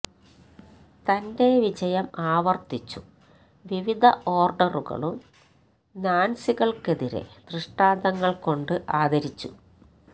തന്റെ വിജയം ആവർത്തിച്ചു വിവിധ ഓർഡറുകളും നാത്സികൾക്കെതിരെ ദൃഷ്ടാന്തങ്ങൾ കൊണ്ട് ആദരിച്ചു